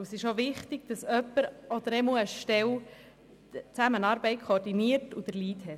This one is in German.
Es ist wichtig, dass eine Stelle die Zusammenarbeit koordiniert und den Lead hat.